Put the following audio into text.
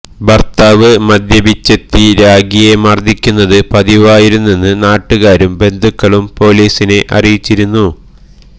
ഭർത്താവ് മദ്യപിച്ചെത്തി രാഖിയെ മർദിക്കുന്നത് പതിവായിരുന്നെന്ന് നാട്ടുകാരും ബന്ധുക്കളും പോലീസിനെ അറിയിച്ചിരുന്നു